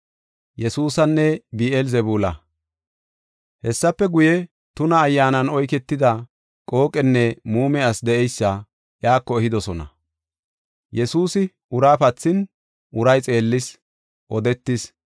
Hessafe guye, tuna ayyaanan oyketida qooqenne muume ase de7eysa iyako ehidosona. Yesuusi ura pathin, uray xeellis; odetis.